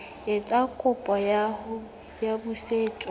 etsa kopo ya ho busetswa